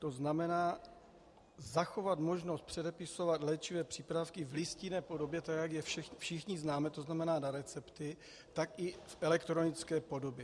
To znamená zachovat možnost předepisovat léčivé přípravky v listinné podobě, tak jak je všichni známe, to znamená na recepty, tak i v elektronické podobě.